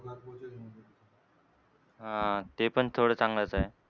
हां. ते पण थोडं चांगलंच आहे.